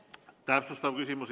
Täpsustav küsimus.